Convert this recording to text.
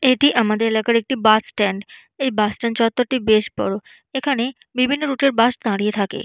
এটি আমাদের এলাকার একটি বাস স্ট্যান্ড এই বাস স্ট্যান্ড চত্ত্বর টি বেশ বড় এখানে বিভিন্ন রুটের এর বাস দাঁড়িয়ে থাকে।